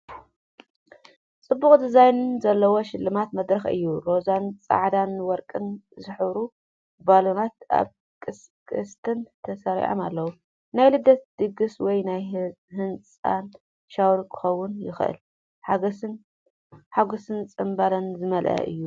ጽቡቕ ዲዛይን ዘለዎ ሽልማት መድረኽ እዩ። ሮዛን ጻዕዳን ወርቅን ዝሕብሩ ባሎናት ኣብ ቅስትን ተሰሪዖም ኣለዉ። ናይ ልደት ድግስ ወይ ናይ ህጻን ሻወር ክኸውን ይኽእል። ሓጎስን ጽምብልን ዝመልኦ እዩ።